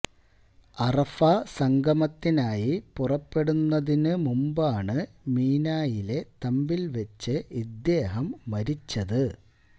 അറഫാ സംഗമത്തിനായി പുറപ്പെടുന്നതിന് മുമ്പാണ് മിനായിലെ തമ്പില് വച്ച് ഇദ്ദേഹം മരിച്ചത്